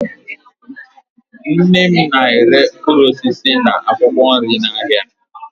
Nne m na-ere mkpụrụ osisi na akwụkwọ nri n'ahịa